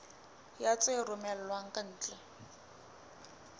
ya tse romellwang ka ntle